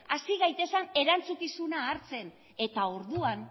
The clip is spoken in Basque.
hasi gaitezen erantzukizuna hartzen eta orduan